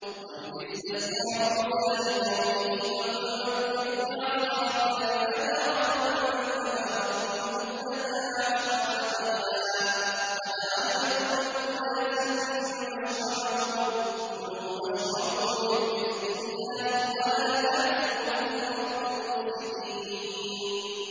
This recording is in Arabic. ۞ وَإِذِ اسْتَسْقَىٰ مُوسَىٰ لِقَوْمِهِ فَقُلْنَا اضْرِب بِّعَصَاكَ الْحَجَرَ ۖ فَانفَجَرَتْ مِنْهُ اثْنَتَا عَشْرَةَ عَيْنًا ۖ قَدْ عَلِمَ كُلُّ أُنَاسٍ مَّشْرَبَهُمْ ۖ كُلُوا وَاشْرَبُوا مِن رِّزْقِ اللَّهِ وَلَا تَعْثَوْا فِي الْأَرْضِ مُفْسِدِينَ